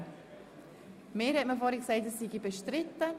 Mir hat man vorher gesagt, er sei bestritten.